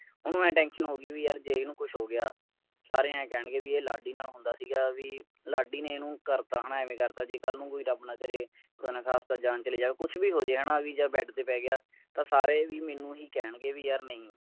ਓਨੁ ਐਂ ਸੀਗੀ ਵੀ ਯਾਰ ਜੇ ਇਸਨੂੰ ਕੁਝ ਹੋ ਗਿਆ ਸਾਰੇ ਐਂ ਕਹਿਣਗੇ ਵੀ ਇਹ ਲਾਡੀ ਨਾਲ ਹੁੰਦਾ ਸੀਗਾ ਵੀ ਲਾਡੀ ਨੇ ਇਹਨੂੰ ਕਰਤਾ ਹੈ ਨਾ ਐਵੇਂ ਕਰ ਤਾ ਜੇ ਕੱਲ ਨੂੰ ਰੱਬ ਨਾ ਕਰੇ ਖੁਦਾ ਨਾ ਖਾਸਤਾ ਜਾਨ ਚਲੀ ਜਾਵੇ ਕੁਝ ਵੀ ਹੋ ਜਾਵੇ ਜਦ ਤੇ ਪੈ ਗਿਆ ਤਾਂ ਸਾਰੇ ਵੀ ਮੈਨੂੰ ਹੀ ਕਹਿਣਗੇ ਵੀ ਯਾਰ ਨਹੀਂ